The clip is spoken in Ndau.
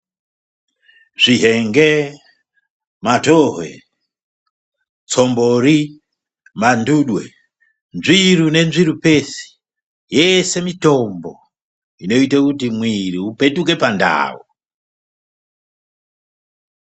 Zvihenge, matohwe, tsombori, mandudwe, nzviru nenzvirupesi yese mitombo inoite kuti mwiiri upetuke pandau.